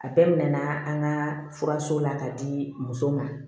A bɛɛ mɛna an ka furaso la k'a di muso ma